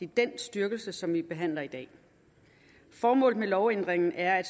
den styrkelse som vi behandler i dag formålet med lovændringen er at